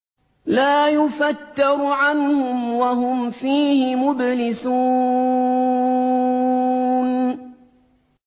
لَا يُفَتَّرُ عَنْهُمْ وَهُمْ فِيهِ مُبْلِسُونَ